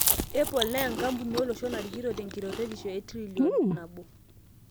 Apple na enkamuni olosho narikito tenkirotetisho e trillion $1